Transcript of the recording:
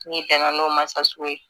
N'i tɛna n'o ma sa sugu ye